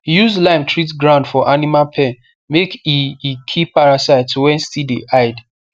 use lime treat ground for animal pen make e e kill parasites wey still dey hide